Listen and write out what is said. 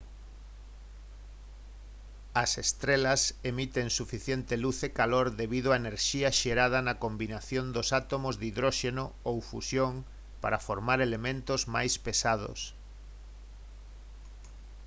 as estrelas emiten suficiente luz e calor debido á enerxía xerada na combinación dos átomos de hidróxeno ou fusión para formar elementos máis pesados